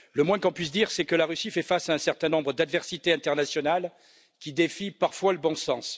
Le moins que l'on puisse dire, c'est que la Russie fait face à un certain nombre d'adversités internationales qui défient parfois le bon sens.